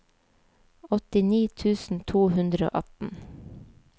åttini tusen to hundre og atten